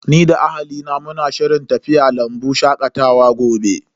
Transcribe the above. Ni da ahalina muna shirin tafiya lambu shakatawa gobe.